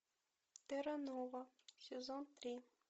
терра нова сезон три